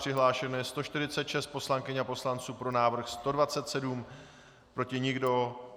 Přihlášeno je 146 poslankyň a poslanců, pro návrh 127, proti nikdo.